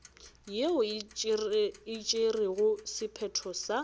yeo e tšerego sephetho sa